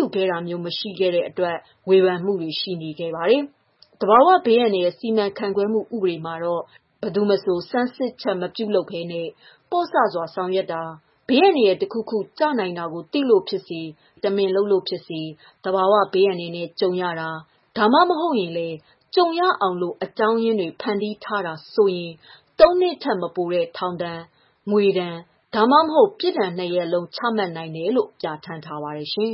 ယူခဲ့တာမျိုးတွေ ရှိခဲ့တယ်ဆိုပြီး ဝေဖန်မှုတွေလည်း ရှိခဲ့ပါတယ်။ သဘာဝဘေးအန္တရာယ်စီမံခန့်ခွဲမှု ဥပဒေမှာတော့ ဘယ်သူမဆို ဆန်းစစ်ချက်မပြုလုပ်ဘဲနဲ့ ပေါ့ဆစွာ ဆောင်ရွက်တာ၊ ဘေးအန္တရာယ် တခုခု ကျနိုင်တာကို သိလို့ ဖြစ်စေ တမင်လုပ်လို့ဖြစ်စေ သဘာဝဘေးအန္တရာယ်နဲ့ ကြုံရတာ ဒါမှမဟုတ်ရင်လည်း ကြုံရအောင် အကြောင်းရင်းတွေ ဖန်တီးတယ်ဆိုရင် ၃ နှစ်ထက် မပိုတဲ့ ထောင်ဒဏ်၊ ငွေဒဏ်၊ ဒါမှမဟုတ် ပြစ်ဒဏ် ၂ ရပ်စလုံး ချမှတ်နိုင်တယ်လို့ ပြဌာန်းထားပါတယ်ရှင်